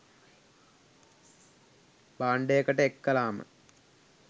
බාන්ඩයකට එක් කලාම